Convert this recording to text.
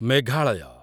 Meghalaya